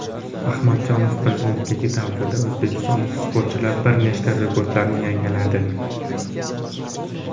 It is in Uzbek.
Ahmadjonov prezidentligi davrida o‘zbekistonlik sportchilar bir nechta rekordlarni yangiladi: !